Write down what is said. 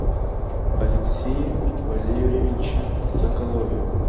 алексее валерьевиче соколове